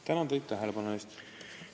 Tänan teid tähelepanu eest!